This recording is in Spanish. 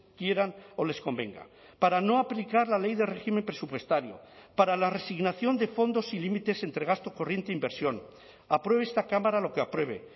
quieran o les convenga para no aplicar la ley de régimen presupuestario para la resignación de fondos y límites entre gasto corriente e inversión apruebe esta cámara lo que apruebe